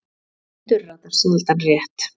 Blindur ratar sjaldan rétt.